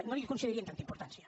no li concedirien tanta importància